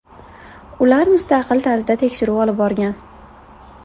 Ular mustaqil tarzda tekshiruv olib borgan.